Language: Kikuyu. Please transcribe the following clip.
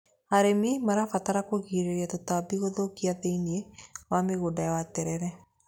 Arĩmi marabatara kũgirĩrĩra tũtambi tũthũkia thĩiniĩ wa mũgũnda wa terere.